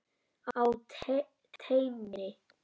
Á teini.